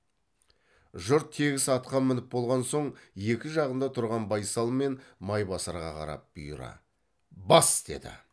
жұрт тегіс атқа мініп болған соң екі жағында тұрған байсал мен майбасарға қарап бұйыра бас деді